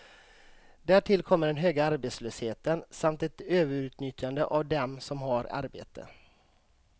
Därtill kommer den höga arbetslösheten, samt ett överutnyttjande av dem som har arbete.